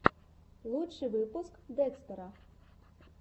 лучший выпуск декстера